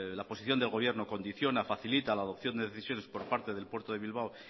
la posición del gobierno condiciona facilita la adopción de decisiones por parte del puerto de bilbao